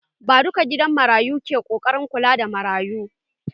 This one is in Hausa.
Ba duka gidan marayu bane ke ƙoƙarin kula da marayun.